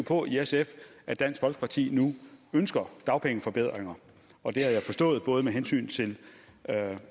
på i sf at dansk folkeparti nu ønsker dagpengeforbedringer og det har jeg forstået både med hensyn til